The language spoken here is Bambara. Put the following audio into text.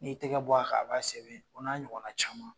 N'i y'i tɛgɛ bɔ a kan , a b'a sɛbɛn o n'a ɲɔgɔn na caman.